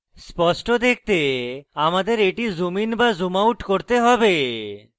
স্পষ্টরূপে দেখতে আমাদের এটি zoom in to zoom out করতে have